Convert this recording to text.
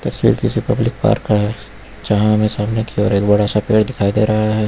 तस्वीर किसी public park का है जहां हमें सामने की ओर एक बड़ा सा पेड़ दिखाई दे रहा है।